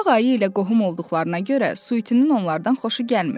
Ağ ayı ilə qohum olduqlarına görə Suitinin onlardan xoşu gəlmirdi.